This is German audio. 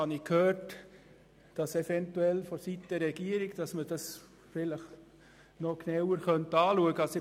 Nun habe ich gehört, man könnte es seitens der Regierung vielleicht noch genauer anschauen.